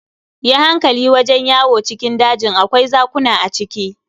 Yi hankali wajen yawo cikin dajin, akwai zakuna a ciki.